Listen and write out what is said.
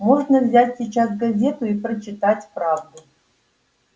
можно взять сейчас газету и прочитать правду